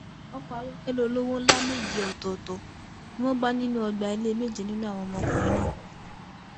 ọkọ ayọkẹlẹ olówó ńlá méje ọtọọtọ ni wọn bá nínú ọgbà ilé méje nínú àwọn ọmọkùnrin náà